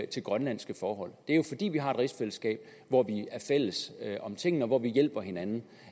til grønlandske forhold det er jo fordi vi har et rigsfællesskab hvor vi er fælles om tingene og hvor vi hjælper hinanden